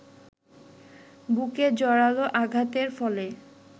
বুকে জোরালো আঘাতের ফলে